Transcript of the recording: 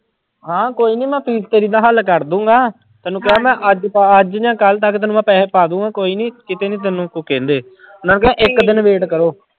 ਹਾਂ ਕੋਈ ਨੀ ਮੈਂ ਫ਼ੀਸ਼ ਤੇਰੀ ਦਾ ਹੱਲ ਕਰ ਦਊਂਗਾ, ਤੈਨੂੰ ਕਿਹਾ ਮੈਂ ਅੱਜ ਤਾਂ ਅੱਜ ਜਾਂ ਕੱਲ੍ਹ ਤੱਕ ਤੈਨੂੰ ਮੈਂ ਪੈਸੇ ਪਾ ਦਊਂਗਾ ਕੋਈ ਨੀ ਕਿਤੇ ਨੀ ਤੈਨੂੰ ਕੁਛ ਕਹਿੰਦੇ ਮੈਂ ਕਿਹਾ ਇੱਕ ਦਿਨ wait ਕਰੋ।